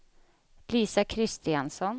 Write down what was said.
Lisa Kristiansson